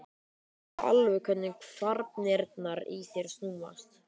Ég heyri alveg hvernig kvarnirnar í þér snúast.